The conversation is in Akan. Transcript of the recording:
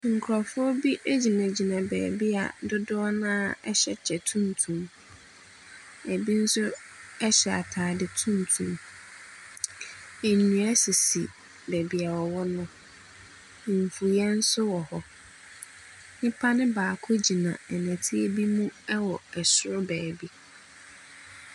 Nkurɔfo bi gyina beebi a dodoɔ no ara hyɛ kyɛ tuntum, bi nso hyɛ ataade tuntum. Nnua nso sisi beebi a wɔwɔ no, mfuiɛ nso wɔ hɔ. Nnipa ne baako gyina nnɛte bi mu wɔ soro beebi.